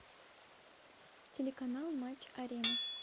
телеканал матч арена